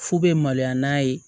Fu bɛ maloya n'a ye